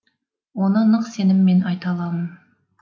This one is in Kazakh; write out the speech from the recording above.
оны нық сеніммен айта аламын